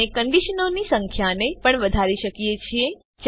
આપણે કંડીશનોની સંખ્યાને પણ વધારી શકીએ છીએ